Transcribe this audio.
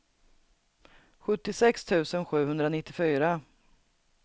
sjuttiosex tusen sjuhundranittiofyra